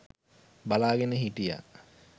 බලාගෙන හිටියා.